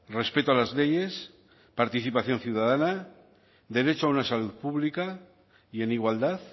respeto a las leyes participación ciudadana derecho a una salud pública y en igualdad